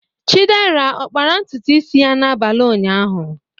Chidera ọ kpara ntutu isi ya n'abalị ụnyaahụ?